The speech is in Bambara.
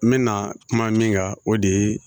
N bɛna kuma min kan o de ye